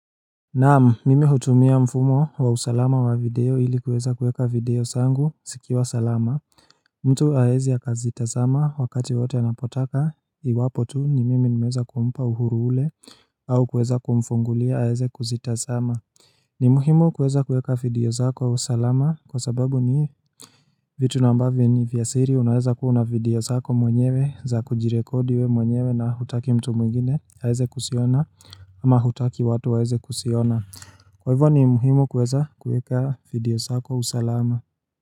Naamu mimi hutumia mfumo wa usalama wa video hili kuweza kuweka video zangu sikiwa salama mtu aezi akazitazama wakati wote anapotaka iwapo tu ni mimi nimeza kuumpa uhuru ule au kuweza kumfungulia aeze kuzitazama ni muhimu kuweza kuweka video zako usalama kwa sababu ni vitu nambavo ni vyasiri unaweza kuuna video zako mwenyewe za kujirekodi we mwenyewe na hutaki mtu mwingine haeze kusiona ama hutaki watu waeze kusiona. Kwa hivyo ni muhimu kuweza kuweka video zako usalama.